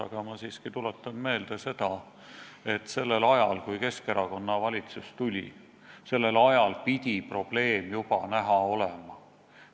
Aga ma siiski tuletan meelde, et sellel ajal, kui Keskerakonna valitsus võimule tuli, pidi probleem juba näha olema.